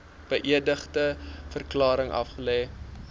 beëdigde verklaring aflê